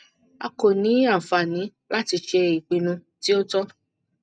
a ko ni anfani lati ṣe ipinnu ti o tọ